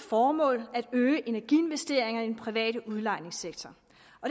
formål at øge energiinvesteringer i den private udlejningssektor